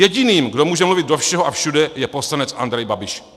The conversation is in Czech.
Jediným, kdo může mluvit do všeho a všude, je poslanec Andrej Babiš.